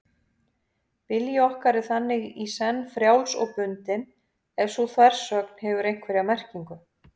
Vilji okkar er þannig í senn frjáls og bundinn, ef sú þversögn hefur einhverja merkingu.